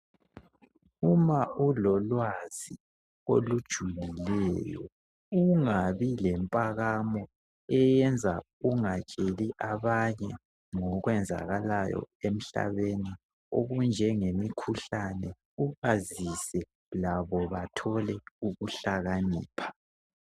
Uma ulolwazi olujulileyo ungabi lempakamo ,eyenza ungatsheli abanye ngokwenzakalayo emhlabeni. Okunjengemikhuhlane ,ubazise labo bathole ukuhlakanipha.